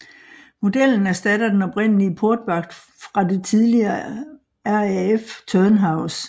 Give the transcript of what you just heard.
Modellen erstatter den oprindelige portvagt fra det tidligere RAF Turnhouse